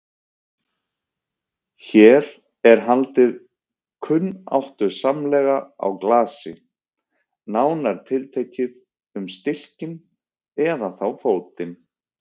Hér er haldið kunnáttusamlega á glasi, nánar tiltekið um stilkinn, eða þá fótinn.